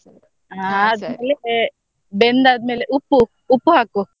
ಹಾ ಬೆಂದಾದ್ಮೇಲೆ ಉಪ್ಪು ಉಪ್ಪು ಹಾಕು.